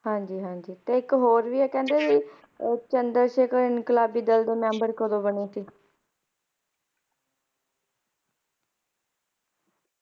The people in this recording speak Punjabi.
ਹਾਂਜੀ ਹਾਂਜੀ ਤੇ ਇਕ ਹੋਰ ਵੀ ਹੈ ਕੀ ਕਹਿੰਦੇ ਚੰਦਰ ਸ਼ੇਖਰ ਇੰਕਲਾਬੀ ਦਲ ਦੇ ਮੈਂਬਰ ਕਦੋਂ ਬਣੇ ਸੀ